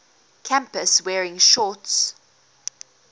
campus wearing shorts